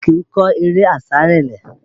Ẹṣin kìí kọ eré àsárelé